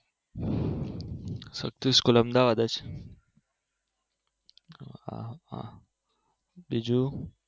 સ્વસ્તિક school Ahmedabad જ હા હા બીજું